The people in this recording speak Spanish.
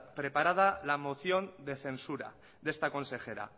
preparada la moción de censura de esta consejera